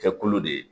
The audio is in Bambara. Kɛkolo de ye